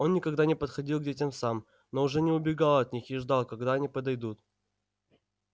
он никогда не подходил к детям сам но уже не убегал от них и ждал когда они подойдут